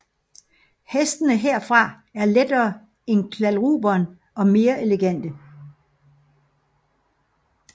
Hestene herfra er lettere end kladruberen og mere elegante